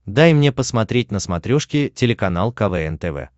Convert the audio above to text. дай мне посмотреть на смотрешке телеканал квн тв